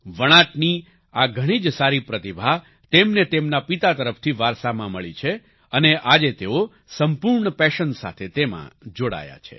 વણાટની આ ઘણી જ સારી પ્રતિભા તેમને તેમના પિતા તરફથી વારસામાં મળી છે અને આજે તેઓ સંપૂર્ણ પેશન સાથે તેમાં જોડાયા છે